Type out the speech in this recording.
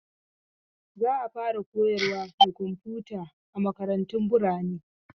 Za a fara koyarwa da komfuta a makarantu birane